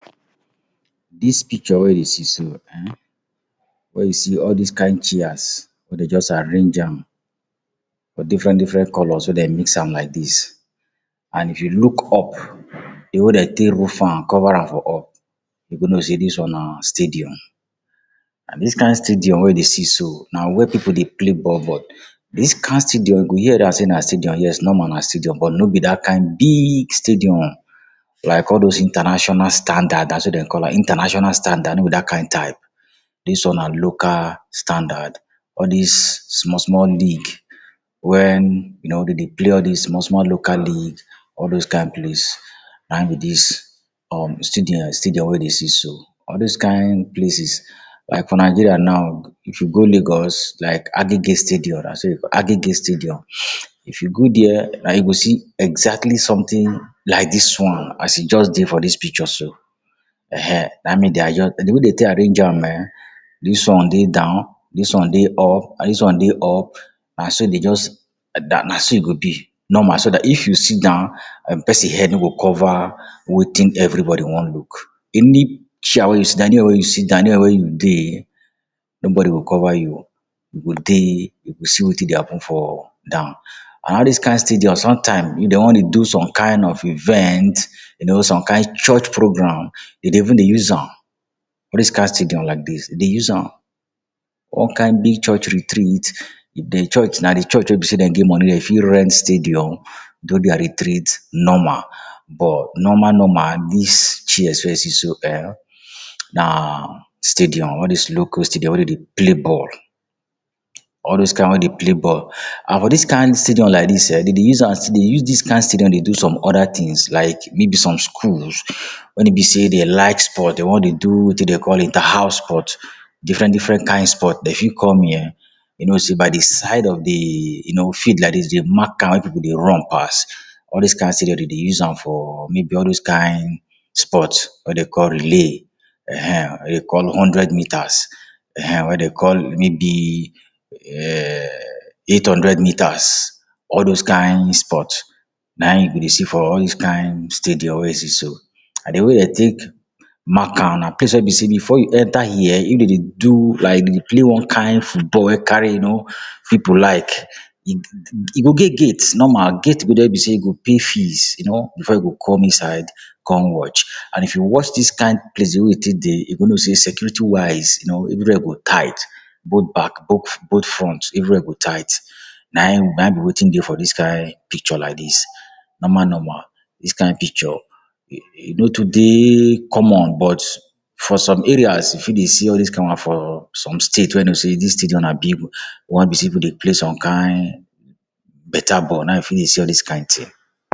Dis picture weh you dey see so ehn, wey you see all dis kain chairs wey de juz arrange am for different-different colours wey dem mix am like dis, and if you look up, di way de take roof am, cover am for up, you go know sey dis one na stadium. An dis kain stadium wey you dey so, na where pipu dey play ball. Dis kain stadium, you go hear dat sey na stadium. Yes, normal, na stadium but no be dat kain big stadium like all dos international standard. Na so dem call am. International standard no be dat kain type. Dis one na local standard. All dis small-small league wen you know de dey play all dis small-small local league, all dos kain place. Na ein be dis um stadium wey dey see so. All dis kain places, like for Nigeria now, if you go Lagos, like Agege stadium Agege stadium, if you go there, and you go see exactly sumtin like dis one as e juz dey for dis picture so. Ehn[um]na ein make de adjust. di way de take arrange am ehn, dis one dey down, dis one dey up, and dis one dey up, na so de juz na so e go be, normal. So dat if you sit down, um pesin head no go cover wetin everybody wan look. Any chair wey you sit down, anywhere wey you sit down, anywhere wey you dey, nobody go cover you. You go dey, you go see wetin dey happen for down. An all dis kain stadium, sometime, if de wan dey do some kain of event, you know some kain church program, de dey even dey use am. All dis kain stadium like dis, de dey use am. One kain big church retreat, if di church na di church wey be sey de get money, de fit rent stadium do dia retreat normal. But normal-normal, dis chairs wey you see so eh, na stadium, all dis local stadium wey de dey play ball. All dos kain wey dey play ball. An for dis kain stadium like dis eh, de dey use am still dey use dis kain stadium dey do some other tins like maybe some schools wen e be sey de like sport, de wan dey do wetin de call Interhouse Sport—different-different kain sport. De fit come here. You know sey by di side of di you know field like dis de mark an wey pipu dey run pass. All dis kain stadium de dey use am for maybe all dos kain sport wey de call relay[um]ehn wey de call hundred meters. Ehn ehn, wey de call maybe um eight hundred metres. All dos kain sport, na ein you go dey see for all dis kain stadium wey you see so. And di way de take mark an, na place wey be sey before you enter here, if de dey do like dey play one kain football wey carry you know pipu like, e go get gate. Normal gate go dey wey be sey you go pay fees, you know, before you go come inside come watch. An if you watch dis kain place wey e take dey, you go know sey security wise, you know, everywhere go tight. Both back both front, everywhere go tight. Na ein na ein be wetin dey for dis kain picture like dis. Normal-normal, dis kain picture e e no too dey common, but for some areas, you fit dey see all dis for some state wey you know sey dis stadium na big one wey be sey pipu dey play some kain beta ball, na ein you fit dey see all dis kain tin